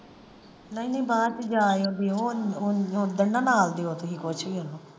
ਨਹੀਂ ਨਹੀਂ ਬਾਅਦ ਚ ਉਹ ਉਹ ਓਦਣ ਨਾ ਨਾਲਦੀ ਉੱਠ .